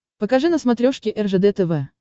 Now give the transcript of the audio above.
покажи на смотрешке ржд тв